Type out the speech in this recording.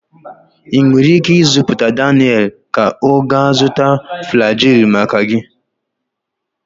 Ị nwere ike izipu Daniel ka ọ gaa zụta Flagyl maka gị